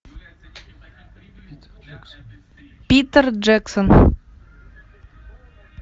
питер джексон